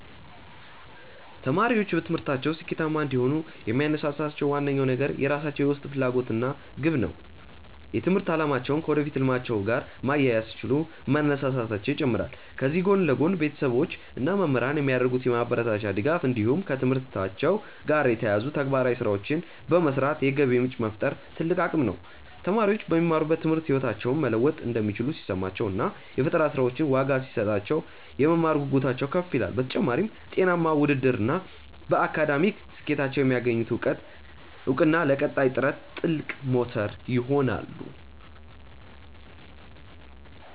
ተማሪዎች በትምህርታቸው ስኬታማ እንዲሆኑ የሚያነሳሳቸው ዋነኛው ነገር የራሳቸው የውስጥ ፍላጎት እና ግብ ነው። የትምህርት አላማቸውን ከወደፊት ህልማቸው ጋር ማያያዝ ሲችሉ መነሳሳታቸው ይጨምራል። ከዚህ ጎን ለጎን፣ ቤተሰቦች እና መምህራን የሚያደርጉት የማበረታቻ ድጋፍ እንዲሁም ከትምህርታቸው ጋር የተያያዙ ተግባራዊ ስራዎችን በመስራት የገቢ ምንጭ መፍጠር ትልቅ አቅም ነው። ተማሪዎች በሚማሩት ትምህርት ህይወታቸውን መለወጥ እንደሚችሉ ሲሰማቸው እና የፈጠራ ስራዎቻቸው ዋጋ ሲሰጣቸው፣ የመማር ጉጉታቸው ከፍ ይላል። በተጨማሪም፣ ጤናማ ውድድር እና በአካዳሚክ ስኬታቸው የሚያገኙት እውቅና ለቀጣይ ጥረት ትልቅ ሞተር ይሆናሉ።